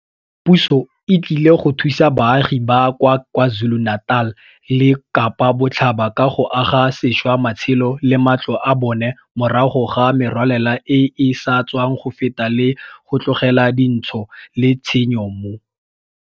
Puso e tlile go thusa baagi ba kwa KwaZulu-Natal le Kapa Botlhaba ka go aga sešwa matshelo le matlo a bona morago ga merwalela e e sa tswang go feta le go tlogela dintsho le tshenyo mo.